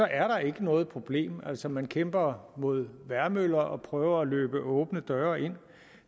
er der ikke noget problem altså man kæmper mod vejrmøller og prøver at løbe åbne døre ind